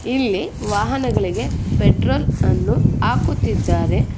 ಇಲ್ಲಿ ವಾಹನಗಳಿಗೆ ಪೆಟ್ರೋಲ್ ಅನ್ನು ಹಾಕುತ್ತಿದ್ದಾರೆ.